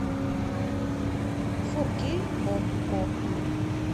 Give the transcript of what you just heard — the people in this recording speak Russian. фор кей окко